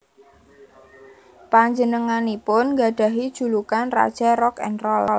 Panjenenganipun nggadhahi julukan Raja Rock n Roll